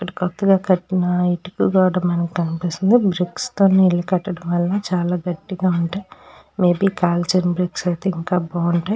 ఇక్కడ కొత్తగా కట్టిన ఇటుక కూడా మనకి కనిపిస్తుంది బ్రిక్స్ తోని ఇల్లు కట్టటం వలన చాల గట్టిగా ఉంటాయి మె బి కాల్చిన బ్రిక్స్ అయితే ఇంకా బావుంటాయ్.